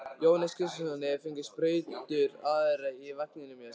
Jóhannes Kristjánsson: Hefurðu fundið sprautur áður í vagninum hjá þér?